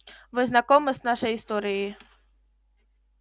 вы знакомы с нашей историей